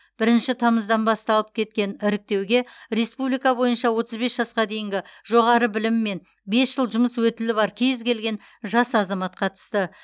бірінші тамызыдан басталып кеткен іріктеуге республика бойынша отыз бес жасқа дейінгі жоғары білімі мен бес жыл жұмыс өтілі бар кез келген жас азамат қатысты